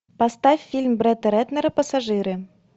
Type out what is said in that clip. поставь фильм бретта рэтнера пассажиры